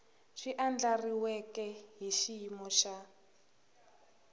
swi andlariweke hi xiyimo xa